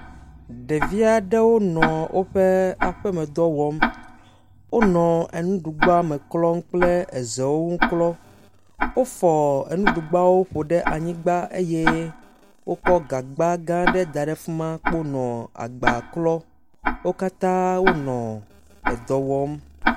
Ɖevia ɖe wo nɔ woƒe aƒemedɔ wɔm. Wonɔ enuɖugbame klɔm kple ezewo ŋu klɔ. Wofɔ enuɖugbawo ƒo ɖe anyigba eye wokɔ gagbagã ɖe da ɖe fi ma kpo nɔ agba klɔ. Wo katã kpo wenɔ edɔ wɔm.